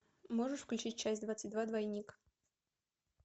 можешь включить часть двадцать два двойник